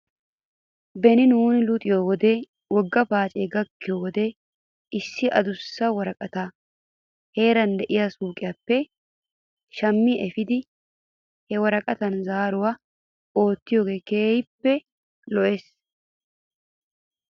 Beni nuuni luxiyoo wode wogga paacee gakkiyoo wode issi adussa woraqataa heeran de'iyaa suyqiyaappe shammi efiidi he woraqatan zaaruwaa oottiyoogee keehippe lo'es.